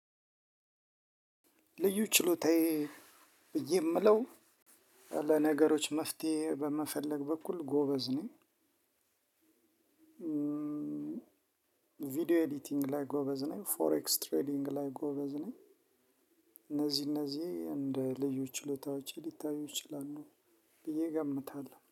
ልዩ ችሎታዬ ብዬ የምለው ለነገሮች መፍትሄ በመፈለግ በኩል ጎበዝ ነኝ። ቪዲዮ ኤዲቲንግ ላይ ጎበዝ ነኝ ፎሬክስ ትሬዲንግ ላይ ጎበዝ ነኝ። እነዚህ እነዚህ እንደ ልዩ ችሎታዎቼ ሊታዩ ይችላሉ ብዬ እገምታለሁ